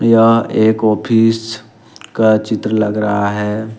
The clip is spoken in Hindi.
यह एक ऑफिस का चित्र लग रहा है।